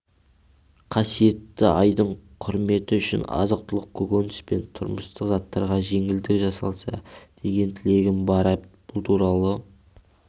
қасиетті айдың құрметі үшін азық-түлік көкөніс пен тұрмыстық заттарға жеңілдік жасалса деген тілегім бар бұл туралы